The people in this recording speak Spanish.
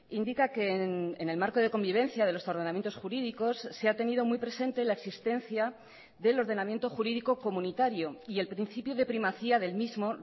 indica que en el marco de convivencia de los ordenamientos jurídicos se ha tenido muy presente la existencia del ordenamiento jurídico comunitario y el principio de primacía del mismo